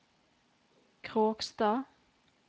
Kråkstad